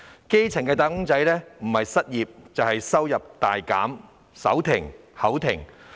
基層"打工仔"若非已經失業，便已收入大減、手停口停。